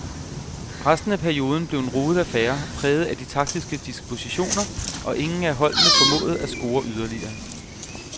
Resten af perioden blev en rodet affære præget af de taktiske dispositioner, og ingen af holdene formåede at score yderligere.